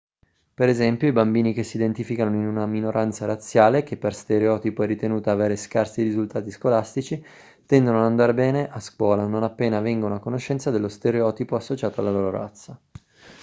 per esempio i bambini che si identificano in una minoranza razziale che per stereotipo è ritenuta avere scarsi risultati scolastici tendono a non andare bene a scuola non appena vengono a conoscenza dello stereotipo associato alla loro razza